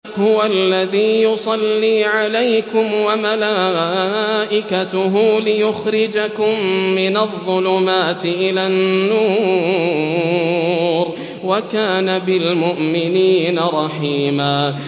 هُوَ الَّذِي يُصَلِّي عَلَيْكُمْ وَمَلَائِكَتُهُ لِيُخْرِجَكُم مِّنَ الظُّلُمَاتِ إِلَى النُّورِ ۚ وَكَانَ بِالْمُؤْمِنِينَ رَحِيمًا